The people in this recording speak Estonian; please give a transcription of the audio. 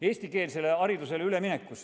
Eestikeelsele haridusele üleminek.